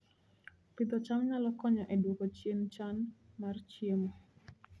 Pidho cham nyalo konyo e dwoko chien chan mar chiemo